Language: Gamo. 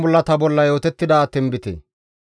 GODAA qaalay taakko yiidi,